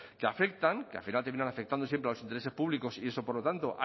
que afectan que al final terminan afectando siempre a los intereses públicos y eso por lo tanto